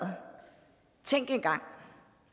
tænk engang